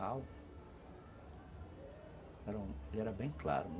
era, ele era bem claro